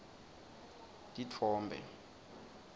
titfombe